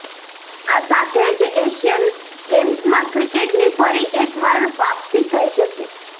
આ સાથે જ એશિયન ગેમ્સમાં ક્રિકેટની ફરી એક વાર વાપસી થઈ જશે